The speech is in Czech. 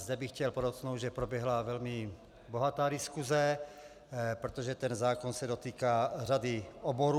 Zde bych chtěl podotknout, že proběhla velmi bohatá diskuse, protože ten zákon se dotýká řady oborů.